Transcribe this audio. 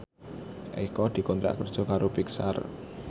Eko dikontrak kerja karo Pixar